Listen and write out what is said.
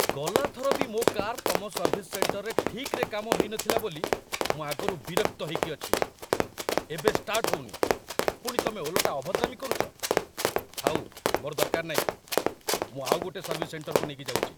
ଗଲା ଥର ବି ମୋ' କାର୍ ତମ ସର୍ଭିସ୍ ସେଣ୍ଟରରେ ଠିକ୍‌ରେ କାମ ହେଇନଥିଲା ବୋଲି ମୁଁ ଆଗରୁ ବିରକ୍ତ ହେଇକି ଅଛି । ଏବେ ଷ୍ଟାର୍ଟ ହଉନି, ପୁଣି ତମେ ଓଲଟା ଅଭଦ୍ରାମି କରୁଚ, ଥାଉ ମୋର ଦରକାର ନାହିଁ, ମୁଁ ଆଉଗୋଟେ ସର୍ଭିସ୍ ସେଣ୍ଟରକୁ ନେଇ ଯାଉଚି ।